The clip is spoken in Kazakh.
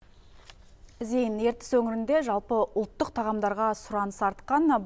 зейін ертіс өңірінде жалпы ұлттық тағамдарға сұраныс артқан